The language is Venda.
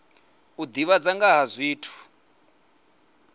u divhadza nga ha zwithu